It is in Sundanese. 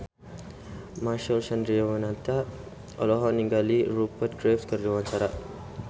Marcel Chandrawinata olohok ningali Rupert Graves keur diwawancara